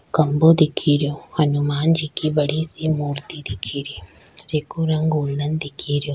खम्भों दिखे रियो हनुमान जी की बड़ी सी मूर्ति दिखे री जे को रंग गोल्डन दिखे रियो।